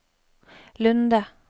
Lunde